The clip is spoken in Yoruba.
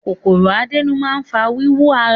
Kòkòrò àdénù máa ń fa wíwú ara.